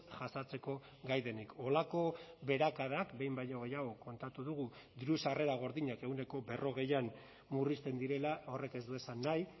jasateko gai denik holako beherakadak behin baino gehiago kontatu dugu diru sarrera gordinak ehuneko berrogeian murrizten direla horrek ez du esan nahi